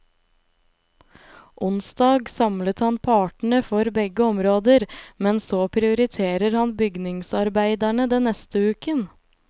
Onsdag samlet han partene for begge områder, men så prioriterer han bygningsarbeiderne den neste uken.